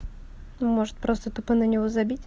может просто тупо на него забить